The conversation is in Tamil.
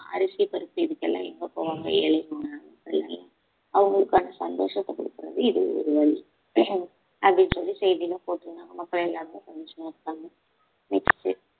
அரிசி பருப்பு இதுக்கு எல்லாம் எங்க போவாங்க ஏழைங்க எல்லாம் அவங்களுக்கான சந்தோஷத்தை கொடுக்கறது இது ஒரு வழி அஹ் அப்படின்னு சொல்லி செய்தியில போட்டிருந்தாங்க மக்கள் எல்லாருமே சந்தோஷமா இருகாங்க next